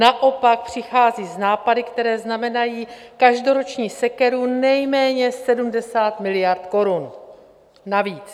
Naopak přichází s nápady, které znamenají každoroční sekeru nejméně 70 miliard korun navíc.